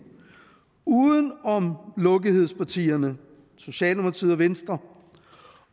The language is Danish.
uden om lukkethedspartierne socialdemokratiet og venstre